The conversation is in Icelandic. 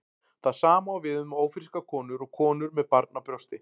Það sama á við um ófrískar konur og konur með barn á brjósti.